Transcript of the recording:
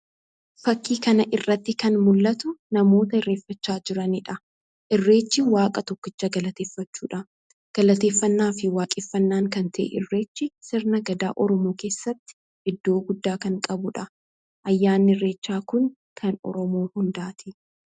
Fakkii kana irratti kan mul'atu namoota irreeffachaa jiraniidha. Irreechi Waaqa tokkicha galateeffachuudha. Galateeffannaa fi waaqeffannaa kan ta'e irreechi, sirna Gadaa Oromoo keessatti iddoo guddaa kan qabuudha. Ayyaanni irreechaa kun kan Oromoo hundaati.